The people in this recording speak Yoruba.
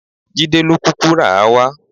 Jídé ló kúkú rà á wá.